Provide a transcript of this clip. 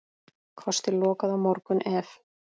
Kosti lokað á morgun ef.